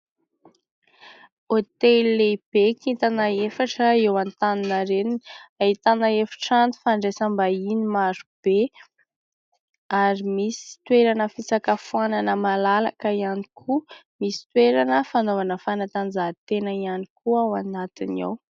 Hôtely lehibe kintana efatra eo Antaninarenina. Ahitana efitrano fandraisam-bahiny maro be ary misy toerana fisakafoanana malalaka ihany koa. Misy toerana fanaovana fanatanjahantena ihany koa ao anatiny ao.